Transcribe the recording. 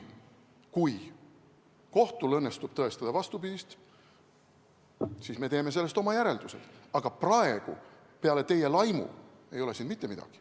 Kui kohtul õnnestub tõestada vastupidist, siis me teeme sellest oma järeldused, aga praegu ei ole siin peale teie laimu mitte midagi.